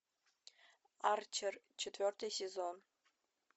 арчер четвертый сезон